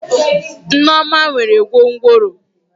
Neoma nwere gwongworo.